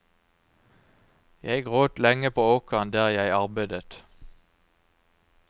Jeg gråt lenge på åkeren der jeg arbeidet.